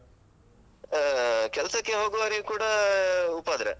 ಆಹ್ ಕೆಲ್ಸಕ್ಕೆ ಹೋಗುವವರಿಗ್ ಕೂಡ ಉಪದ್ರ.